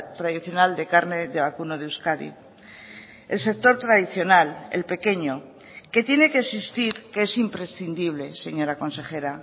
tradicional de carne de vacuno de euskadi el sector tradicional el pequeño que tiene que existir que es imprescindible señora consejera